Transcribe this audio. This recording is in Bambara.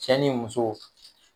Cɛ ni muso